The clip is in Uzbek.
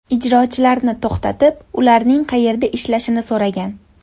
ijrochilarni to‘xtatib, ularning qayerda ishlashini so‘ragan.